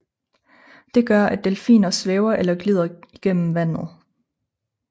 Det gør at delfiner svæver eller glider igennem vandet